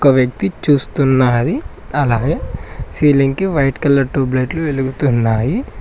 ఒక వ్యక్తి చూస్తున్నాది అలాగే సీలింగ్ కి వైట్ కలర్ ట్యూబ్ లైట్లు వెలుగుతున్నాయి.